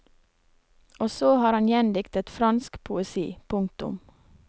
Og så har han gjendiktet fransk poesi. punktum